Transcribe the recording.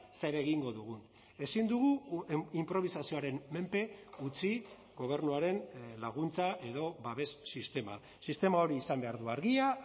zer egingo dugun ezin dugu inprobisazioaren menpe utzi gobernuaren laguntza edo babes sistema sistema hori izan behar du argia